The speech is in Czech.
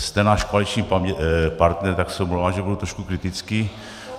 Jste náš koaliční partner, tak se omlouvám, že budu trošku kritický.